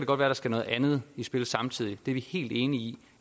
godt være der skal noget andet i spil samtidig det er vi helt enige i